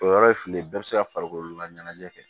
O yɔrɔ ye fili ye bɛɛ bɛ se ka farikolo laɲɛnajɛ kɛ